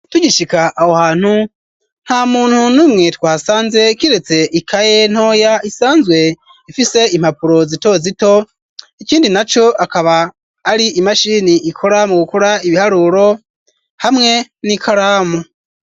Tugishika aho hantu, nta muntu numwe twasanze kiretse ikaye ntoya, isanzwe ifise impapuro zito zito,, ikindi na co akaba ari imashini ikora mu gukura ibiharuro, hamwe n'ikaramu.